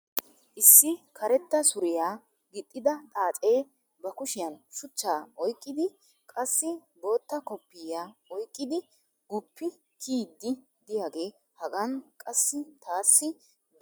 issi karetta suriya gixidda xaacee ba kushiyan shuchchaa oyqqidi qassi bootta koppoyiya oyqqidi guppi kiyiidi diyaagee hagan qassi taassi beetees.